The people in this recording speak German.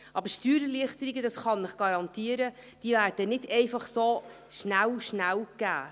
Aber Steuererleichterungen, dies kann ich Ihnen garantieren, werden nicht schnell, schnell gewährt.